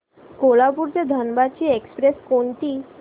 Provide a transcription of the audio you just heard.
कोल्हापूर ते धनबाद ची एक्स्प्रेस कोणती